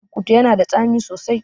Burkutu yana da tsami sosai